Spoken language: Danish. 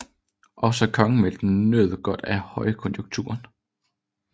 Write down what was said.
Også kongemagten nød godt af højkonjunkturen